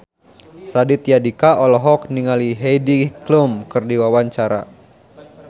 Raditya Dika olohok ningali Heidi Klum keur diwawancara